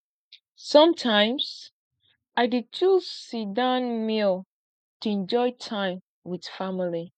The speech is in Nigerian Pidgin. sometimes i dey choose sitdown meal to enjoy time with family